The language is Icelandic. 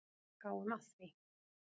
Gáum að því.